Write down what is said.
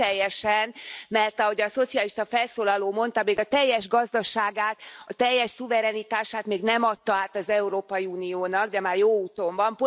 Még nem teljesen, mert ahogy a szocialista felszólaló mondta a teljes gazdaságát, a teljes szuverenitását még nem adta át az Európai Uniónak, de már jó úton van.